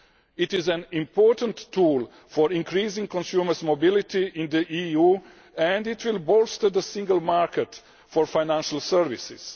It is an important tool for increasing consumer mobility in the EU and will bolster the single market for financial services.